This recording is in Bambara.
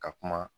Ka kuma